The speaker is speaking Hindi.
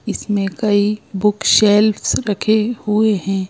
इसमें कई बुकशेल्फ्स रखे हुए हैं।